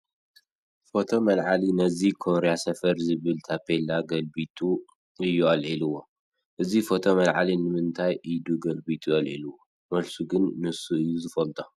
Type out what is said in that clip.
ፎቶ መልዓሊ ነዚ ኮርያ ሰፈር ዝብል ታፔላ ገልቢጡ እዩ ኣልዒልዎ፡፡ እዚ ፎቶ መልዓሊ ንምንታይ እዱ ገልቢጡ ኣልዒልዎ፡፡ መልሱ ግን ንሱ እዩ ዝፈልጦ፡፡